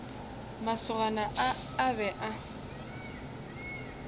masogana a a be a